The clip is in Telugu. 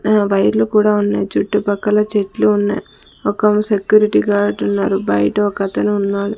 ఆ వైర్లు కూడా ఉన్నాయి చుట్టుపక్కల చెట్లు ఉన్నాయి ఒకమా సెక్యూరిటీ గార్డ్ ఉన్నారు బయట ఒకతను ఉన్నాడు.